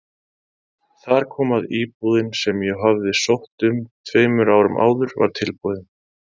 Þar kom að íbúðin sem ég hafði sótt um tveimur árum áður var tilbúin.